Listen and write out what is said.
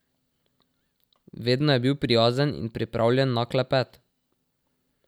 Vedno je bil prijazen in pripravljen na klepet.